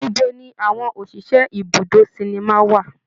Ibo ni àwọn òṣìṣẹ́ ibùdó sinimá wà?